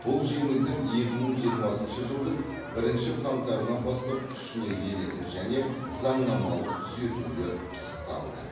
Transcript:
бұл жеңілдік екі мың жиырмасыншы жылдың бірінші қаңтарынан бастап күшіне енеді және заңнамалық түзетулер пысықталды